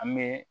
An bɛ